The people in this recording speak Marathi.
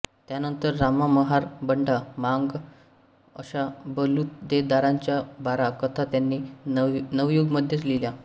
त्यांनतर रामा महार बंडा मांग अशा बलुतेदारांच्या बारा कथा त्यांनी नवयुगमध्येच लिहिल्या